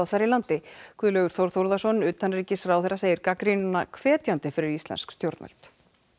þar í landi Guðlaugur Þór Þórðarson utanríkisráðherra segir gagnrýnina hvetjandi fyrir íslensk stjórnvöld